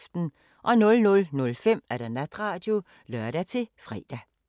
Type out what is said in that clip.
00:05: Natradio (lør-fre)